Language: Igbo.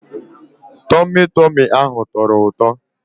Tọmị Tọmị ahụ tọrọ ụtọ.